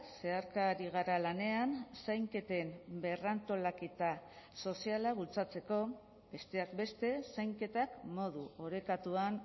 zeharka ari gara lanean zainketen berrantolaketa soziala bultzatzeko besteak beste zainketak modu orekatuan